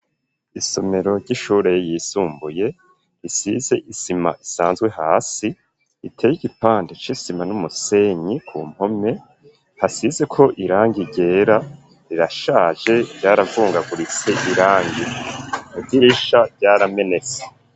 Isomero ry'ishure yisumbuye risize isima isanzwe hasi iteye igipande c'isima n'umusenyi ku mpome hasizeko irangi ryera rirashaje vyaravungaguritse irangi idirisha ryaramenetse.